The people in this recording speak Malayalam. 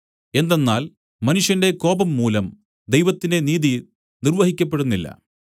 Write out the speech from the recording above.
എന്തെന്നാൽ മനുഷ്യന്റെ കോപം മൂലം ദൈവത്തിന്റെ നീതി നിർവ്വഹിക്കപ്പെടുന്നില്ല